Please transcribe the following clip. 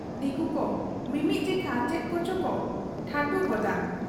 ᱫᱤᱠᱩᱠᱩ ᱢᱤᱢᱤᱫ ᱡᱮᱠᱷᱟ ᱪᱮᱫ ᱠᱚᱪᱚᱠᱚ ᱴᱷᱟᱴᱷᱩ ᱜᱚᱫᱟᱛᱚ ᱾